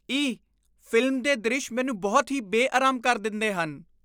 ਈਅ ! Film ਦੇ ਦ੍ਰਿਸ਼ ਮੈਨੂੰ ਬਹੁਤ ਹੀ ਬੇਅਰਾਮ ਕਰ ਦਿੰਦੇ ਹਨ।